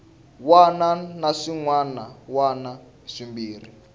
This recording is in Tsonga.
wana na swin wana swimbirhi